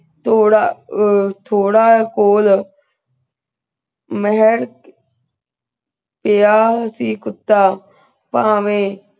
ਤੋਰਾ ਆ ਤੋਰਾ ਖੋਲ ਮੈਂ ਤੇ ਆ ਸੀ ਕੁੱਤਾ ਪਨਵੇ